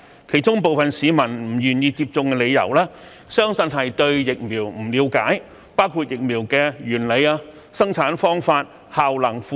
其中部分市民不願意接種的原因相信是對疫苗不了解，包括疫苗的原理、生產方法、效能、副作用等。